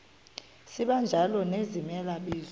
sibanjalo nezimela bizo